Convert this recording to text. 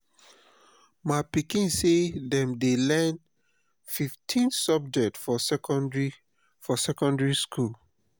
my pikin sey dem dey learn fifteen subject for secondary for secondary skool.